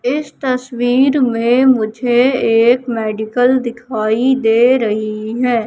इस तस्वीर में मुझे एक मेडिकल दिखाई दे रही है।